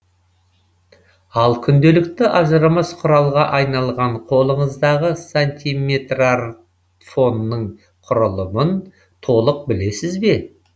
ал күнделікті ажырамас құралға айналған қолыңыздағы сантиметрартфонның құрылымын толық білесіз бе